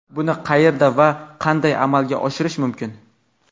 Buni qayerda va qanday amalga oshirish mumkin?.